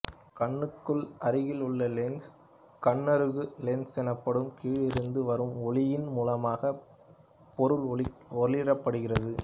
கண்ணுக்கு அருகில் உள்ள லென்சு கண்ணருகு லென்சு னப்படும் கீழிருந்து வரும் ஒளியின் மூலமாக பொருள் ஒளிரப்படுகிறது